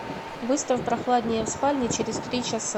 выставь прохладнее в спальне через три часа